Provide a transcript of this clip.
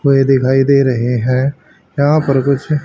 कोई दिखाई दे रहे हैं यहां पर कुछ--